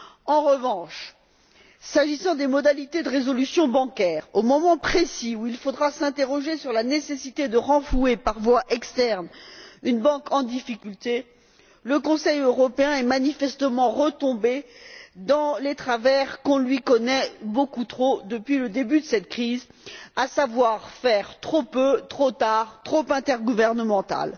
En revanche, s'agissant des modalités de résolution bancaire, au moment précis où il faudra s'interroger sur la nécessité de renflouer, par voie externe, une banque en difficulté, le Conseil européen est manifestement retombé dans les travers qu'on lui connaît beaucoup trop depuis le début de cette crise. Il fait trop peu, trop tard et à une échelle trop intergouvernementale.